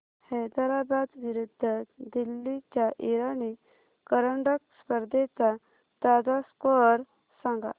हैदराबाद विरुद्ध दिल्ली च्या इराणी करंडक स्पर्धेचा ताजा स्कोअर सांगा